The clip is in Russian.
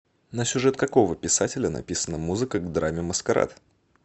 на сюжет какого писателя написана музыка к драме маскарад